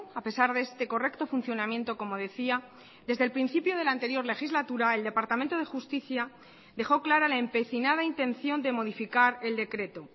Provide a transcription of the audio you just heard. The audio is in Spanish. a pesar de este correcto funcionamiento como decia desde el principio de la anterior legislatura el departamento de justicia dejó clara la empecinada intención de modificar el decreto